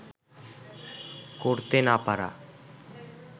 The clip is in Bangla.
করতে না পারা